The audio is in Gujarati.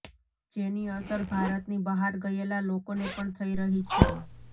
જેની અસર ભારતની બહાર ગયેલા લોકોને પણ થઈ રહી છે